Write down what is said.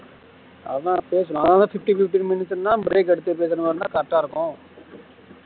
அதுதான் அப்போவே சொன்ன fifteen fifteen minutes னா break எடுத்து பேசுற மாரி இருந்த correct ஆ இருக்கும்